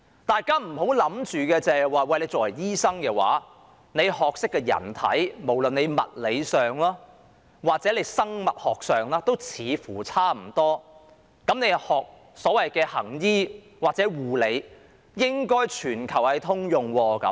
大家別以為醫生所學的是人體知識，在物理或生物學上也差不多，所以所謂的行醫或護理應該全球通用。